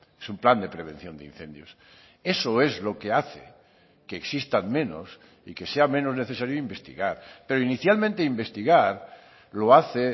es un plan de prevención de incendios eso es lo que hace que existan menos y que sea menos necesario investigar pero inicialmente investigar lo hace